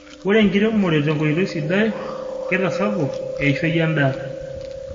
ore enkiremore tenkoitoi sidai kitasapok eishoi endaa